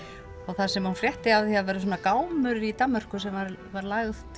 þar sem hún frétti af því að það væri svona gámur í Danmörku sem var var lagt